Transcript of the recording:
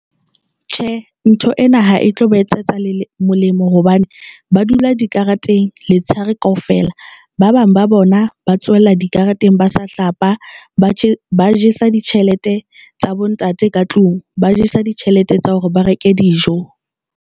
Tjhe, ntho ena ha e tlo ba etsetsa molemo hobane ba dula dikareteng letshehare kaofela, ba bang ba bona ba tsohella dikareteng, ba sa hlapa, ba jesa ditjhelete tsa bontate ka tlung, ba jesa ditjhelete tsa hore ba reke dijo.